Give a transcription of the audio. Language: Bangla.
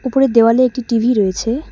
ওপরের দেওয়ালে একটি টি_ভি রয়েছে।